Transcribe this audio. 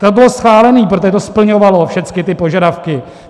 To bylo schválené, protože to splňovalo všechny ty požadavky.